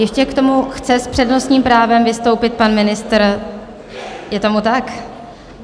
Ještě k tomu chce s přednostním právem vystoupit pan ministr, je tomu tak?